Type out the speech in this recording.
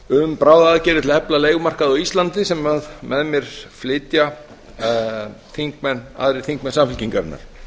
um bráðaaðgerðir til að efla leigumarkað á íslandi sem með mér flytja aðrir þingmenn samfylkingarinnar